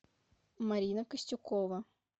марина костюкова